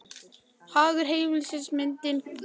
Hagur heimilisins myndi vænkast.